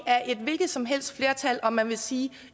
et hvilket som helst flertal om man vil sige